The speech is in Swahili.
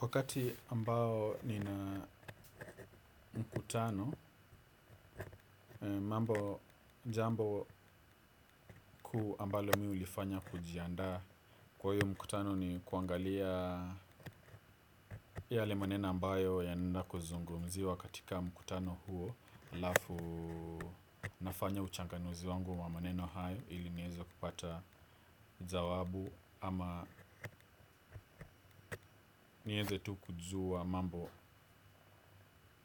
Wakati ambao nina mkutano, mambo jambo kuu ambalo mimi hulifanya kujiandaa kwa hiyo mkutano ni kuangalia yale maneno ambayo yanaenda kuzungumziwa katika mkutano huo halafu nafanya uchanganuzi wangu wa maneno hayo ili niweze kupata jawabu ama nieze tu kujua mambo